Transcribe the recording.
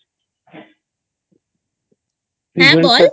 হ্যাঁ বল